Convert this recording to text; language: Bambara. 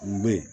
Kun bɛ yen